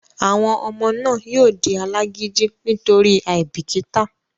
àwọn ọmọ náà yóò di alágídí nítorí àìbìkítà